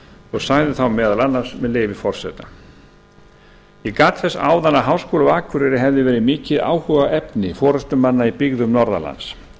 og sagði þá meðal annars með leyfi forseta ég gat þess áðan að háskóli á akureyri hefði verið mikið áhugaefni forustumanna í byggðum norðanlands